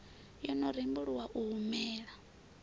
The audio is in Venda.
yo no rembuluwa u humela